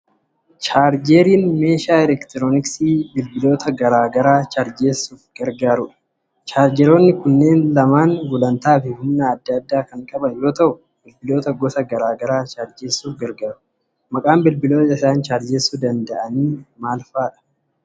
Chaarjeriin meeshaa elektirooniksii bilbiloota garaa garaa chaarjessuuf gargaarudha. Chaarjeroonni kunneen lamaan gulantaa fi humna adda addaa kan qaban yoo ta'u, bilbiloota gosa garaa garaa chaarjessuuf gargaaru. Maqaan bilbiloota isaan chaarjessuu danda'an maal faati?